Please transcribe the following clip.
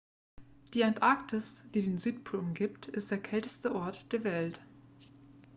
die antarktis die den südpol umgibt ist der kälteste ort der erde